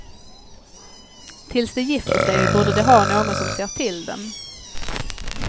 Tills de gifter sig borde de ha någon som ser till dem.